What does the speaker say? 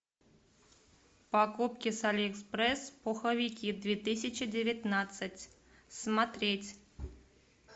покупки с алиэкспресс пуховики две тысячи девятнадцать смотреть